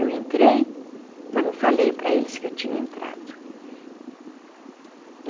Eu entrei, mas não falei para eles que eu tinha entrado.